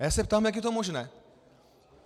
A já se ptám, jak je to možné?